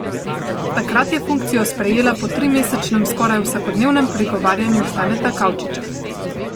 Takrat je funkcijo sprejela po trimesečnem skoraj vsakodnevnem prigovarjanju Staneta Kavčiča.